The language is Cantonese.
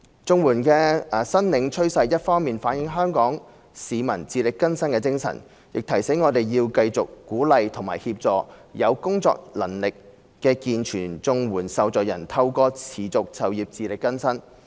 綜援的申領趨勢一方面反映香港市民自力更生的精神，亦提醒我們要繼續鼓勵和協助有工作能力的健全綜援受助人透過持續就業自力更生。